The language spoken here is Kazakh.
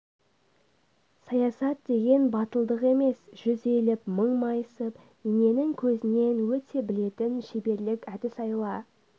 саясат деген батылдық емес жүз иіліп мың майысып иненің көзінен өте білетін шеберлік әдіс-айла